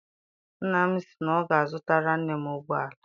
Nna m sị na ọ ga- azutara nne m ụgbọala.